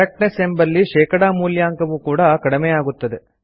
correctness ಎಂಬಲ್ಲಿ ಶೇಕಡಾ ಮೂಲ್ಯಾಂಕವು ಕೂಡಾ ಕಡಿಮೆಯಾಗುತ್ತದೆ